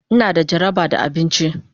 Ina da jaraba da abinci.